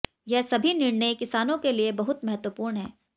यह सभी निर्णय किसानों के लिए बहुत महत्वपूर्ण है